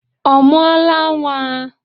Ọ mụọla nwa?